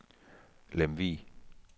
Lemvug